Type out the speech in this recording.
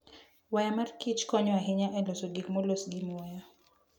Waya mar Kich konyo ahinya e loso gik molos gi muya.